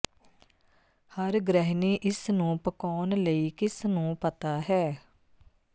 ਹਰ ਗ੍ਰਹਿਣੀ ਇਸ ਨੂੰ ਪਕਾਉਣ ਲਈ ਕਿਸ ਨੂੰ ਪਤਾ ਹੈ